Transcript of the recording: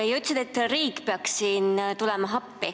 Ja sa ütlesid, et riik peaks siin appi tulema.